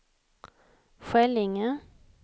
Skällinge